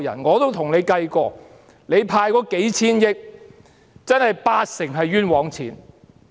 我也跟政府計算過，派發的數千億元，八成是冤枉錢。